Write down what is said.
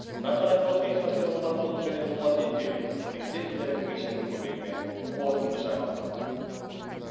дархан әбдуахит хасен омарқұлов және дулат ентебеков президент телерадио кешенінің көмегімен қорытынды жаңалықтар